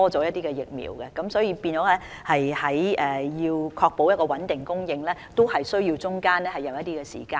大家要明白，訂購疫苗和確保穩定供應也需要一定的時間。